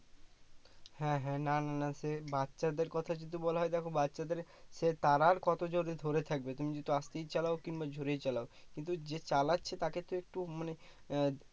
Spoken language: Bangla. হ্যাঁ হ্যাঁ না না না সে বাচ্ছাদের কথা যদি বলা হয় দেখো বাচ্ছাদের সে তারা আর কত জোরে ধরে থাকবে তুমি যতই আসতেই চালাও কিংবা জোরেই চালাও কিন্তু যে চালাচ্ছে তাকে তো একটু মানে আহ